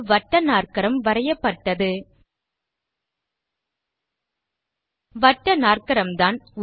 ஒரு வட்டநாற்கரம் வரையப்பட்டது வட்டநாற்கரம்தான்